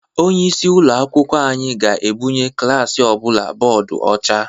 Onyeisi ụlọ akwụkwọ anyị ga-ebunye klaasị ọbụla bọdụ ọcha.